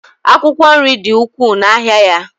akwụkwọ nri dị ukwuu n'ahịa ya